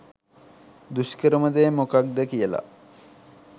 දුෂ්කරම දේ මොකක්ද කියල